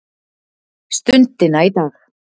stundina í dag.